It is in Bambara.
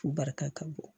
U barika ka bon